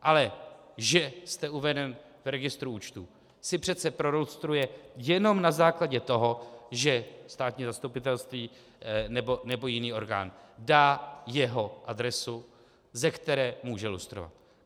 Ale že jste uveden v registru účtů, si přece prolustruje jenom na základě toho, že státní zastupitelství nebo jiný orgán dá jeho adresu, ze které může lustrovat.